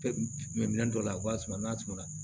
Minɛn minɛn dɔ la a b'a suma n'a suma